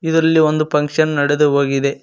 ಇದರಲ್ಲಿ ಒಂದು ಫಂಕ್ಷನ್ ನೆಡದು ಹೋಗಿದೆ.